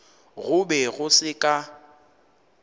go be go se ka